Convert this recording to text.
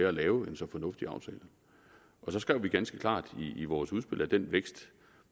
at lave en så fornuftig aftale så skrev vi ganske klart i vores udspil at den vækst